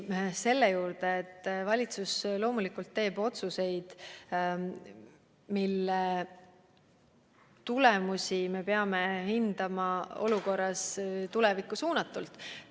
Valitsus loomulikult teeb otsuseid, mille mõju me peame hindama tulevikku suunatult.